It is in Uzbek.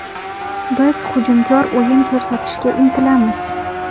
Biz hujumkor o‘yin ko‘rsatishga intilamiz.